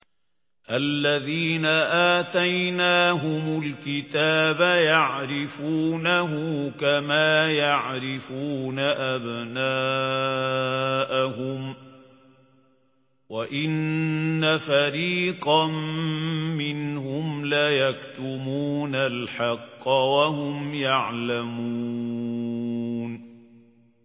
الَّذِينَ آتَيْنَاهُمُ الْكِتَابَ يَعْرِفُونَهُ كَمَا يَعْرِفُونَ أَبْنَاءَهُمْ ۖ وَإِنَّ فَرِيقًا مِّنْهُمْ لَيَكْتُمُونَ الْحَقَّ وَهُمْ يَعْلَمُونَ